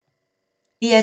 DR2